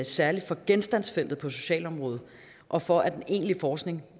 særlig for genstandsfeltet på socialområdet og for at den egentlige forskning